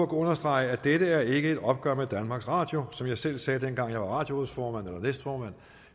understrege at dette ikke er et opgør med danmarks radio som jeg selv sagde dengang jeg var radiorådsformand eller næstformand at